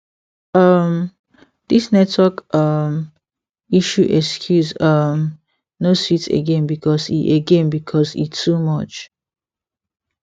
um this network um issue excuse um no sweet again because e again because e too much